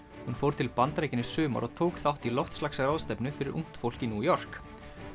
hún fór til Bandaríkjanna í sumar og tók þátt í loftslagsráðstefnu fyrir ungt fólk í New York